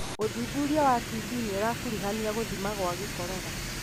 ũthuthuria wa TB nĩũrakuruhania gũthima gwa gĩkorora